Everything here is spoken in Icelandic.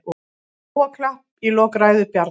Lófaklapp í lok ræðu Bjarna